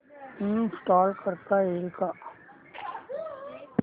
install करता येईल का